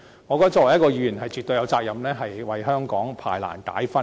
我認為作為一名議員，絕對有責任為香港排難解紛。